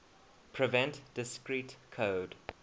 prevent discrete code